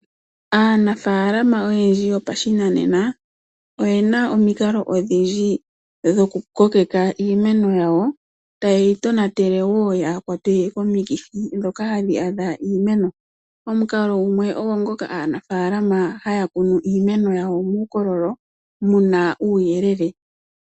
Aanafalama oyendji yo pashinanena oyena omikalo odhindji dho ku kokeka iimeno yawo, ta yeyi tonatele woo yaa kwatwe komikithi ndhoka hadhi adha iimeno. Omukalo gumwe ogo ngoka aanafalama haya kunu iimeno yawo muukololo muna uuyelele.